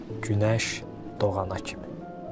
Günəş doğana kimi.